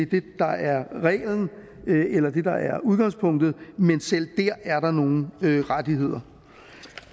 det der er reglen eller udgangspunktet men selv der er der nogle rettigheder